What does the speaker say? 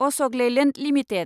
Ashok Leyland limited